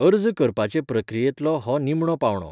अर्ज करपाचे प्रक्रियेंतलो हो निमणो पावंडो.